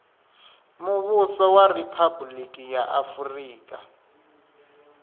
muvhuso wa riphabuliki ya afurika